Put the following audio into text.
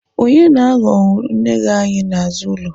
Onye na-aghọ unere anyị n'azụ ụlọ?